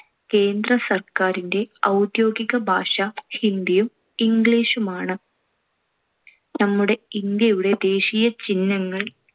കേന്ദ്രസർക്കാരിന്‍റെ ഔദ്യോഗികഭാഷ ഹിന്ദിയും ഇംഗ്ലീഷുമാണ്. നമ്മുടെ ഇന്ത്യയുടെ ദേശീയ ചിഹ്നങ്ങൾ.